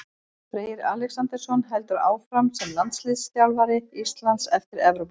Freyr Alexandersson heldur áfram sem landsliðsþjálfari Íslands eftir Evrópumótið.